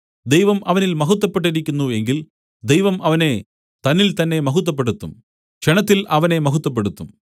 ദൈവം അവനിൽ മഹത്വപ്പെട്ടിരിക്കുന്നു എങ്കിൽ ദൈവം അവനെ തന്നിൽതന്നേ മഹത്വപ്പെടുത്തും ക്ഷണത്തിൽ അവനെ മഹത്വപ്പെടുത്തും